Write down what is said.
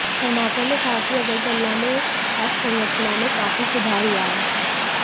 कर्माकर ने कहा कि अगरतला में अवसंरचना में काफी सुधार हुआ है